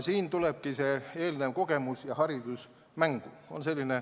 Siin tulevadki mängu eelnev kogemus ja haridus.